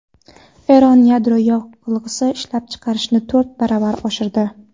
Eron yadro yoqilg‘isi ishlab chiqarishni to‘rt baravar oshirdi.